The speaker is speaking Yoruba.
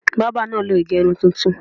Bábà náà lo ìgẹrun titun.